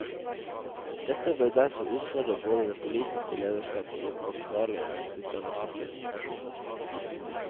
Dette bør derfor utfordre både det politiske lederskap og ansvarlige utdannelsesinstitusjoner.